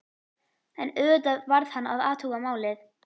En auðvitað varð hann að athuga málið.